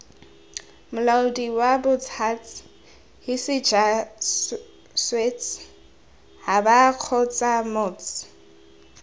molaodi wabots huts hisijwasets habakgotsamots